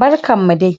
Barkan mu dai!